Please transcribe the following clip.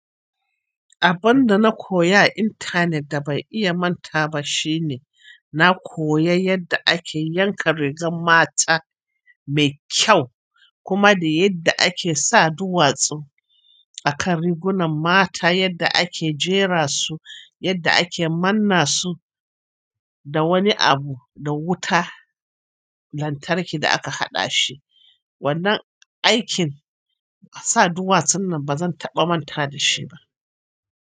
Abun da na koya a intanet da ban iya mantawa ba shine, na koya yadda ake yanka rigar mata me kyau, kuma da yadda ake sa duwatsu akan rigunan mata, yadda ake jera su, yadda ake manna su da wani abu, da wuta lantarki da aka haɗa shi. Wannan aikin sa duwatsun nan ba zan taɓa manta da shi ba.